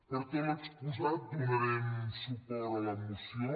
per tot l’exposat donarem suport a la moció